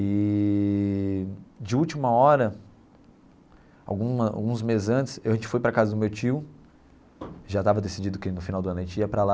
Eee de última hora, alguma alguns meses antes, a gente foi para a casa do meu tio, já estava decidido que no final do ano a gente ia para lá,